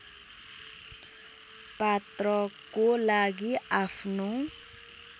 पात्रको लागि आफ्नो